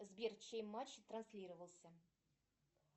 сбер чей матч транслировался